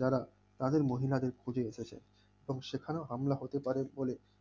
যারা তাদের মহিলাদের খোঁজে এসেছে কারণ সেখানেও হামলা হতে পারে বলে